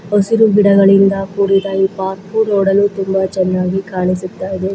ಹಸಿರು ಗಿಡಗಳಿಂದ ಕೂಡಿದ ಈ ಪಾರ್ಕು ನೋಡಲು ತುಂಬಾ ಚನ್ನಾಗಿ ಕಾಣಿಸುತ್ತ ಇದೆ.